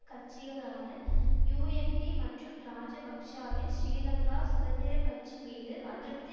கட்சிகளான யூஎன்பி மற்றும் இராஜபக்ஷவின் ஸ்ரீலங்கா சுதந்திர கட்சி மீது அதிருப்தி